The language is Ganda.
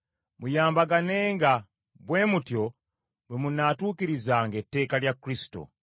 Muyambaganenga, bwe mutyo bwe munaatuukirizanga etteeka lya Kristo.